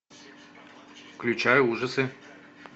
включай ужасы